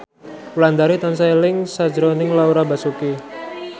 Wulandari tansah eling sakjroning Laura Basuki